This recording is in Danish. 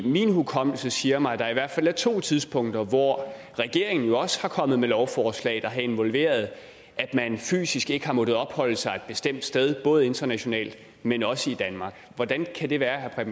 min hukommelse siger mig at der i hvert fald er to tidspunkter hvor regeringen også er kommet med lovforslag der har involveret at man fysisk ikke har måttet opholde sig et bestemt sted både internationalt men også i danmark hvordan kan det være vil